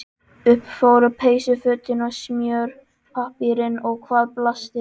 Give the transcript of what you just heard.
Upp fóru peysufötin og smjörpappírinn og hvað blasti við?